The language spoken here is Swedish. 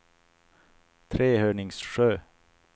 Trehörningsjö